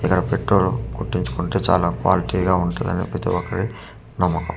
ఇక్కడ పెట్రోల్ కోటించుకుంటే చాలా క్వాలిటి గా ఉంటుంది అని ప్రతి ఒక్కరు నమ్మకం .